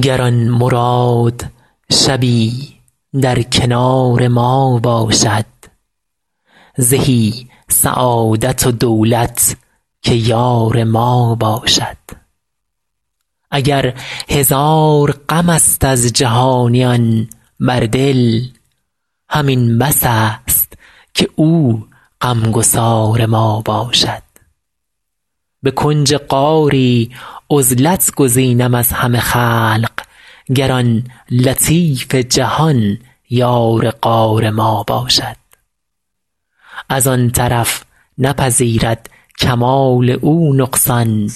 گر آن مراد شبی در کنار ما باشد زهی سعادت و دولت که یار ما باشد اگر هزار غم است از جهانیان بر دل همین بس است که او غم گسار ما باشد به کنج غاری عزلت گزینم از همه خلق گر آن لطیف جهان یار غار ما باشد از آن طرف نپذیرد کمال او نقصان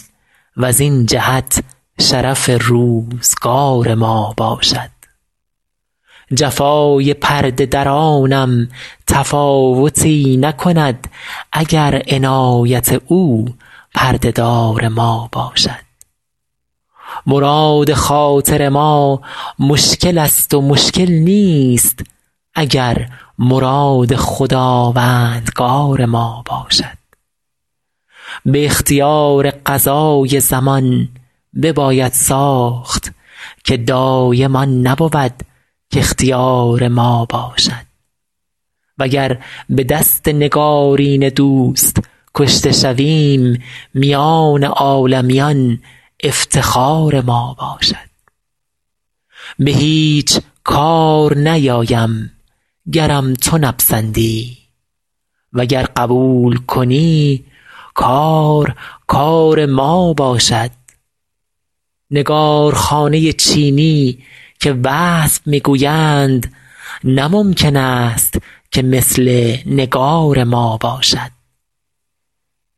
وزین جهت شرف روزگار ما باشد جفای پرده درانم تفاوتی نکند اگر عنایت او پرده دار ما باشد مراد خاطر ما مشکل است و مشکل نیست اگر مراد خداوندگار ما باشد به اختیار قضای زمان بباید ساخت که دایم آن نبود کاختیار ما باشد وگر به دست نگارین دوست کشته شویم میان عالمیان افتخار ما باشد به هیچ کار نیایم گرم تو نپسندی وگر قبول کنی کار کار ما باشد نگارخانه چینی که وصف می گویند نه ممکن است که مثل نگار ما باشد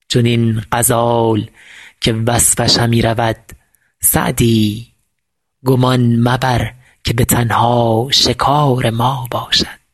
چنین غزال که وصفش همی رود سعدی گمان مبر که به تنها شکار ما باشد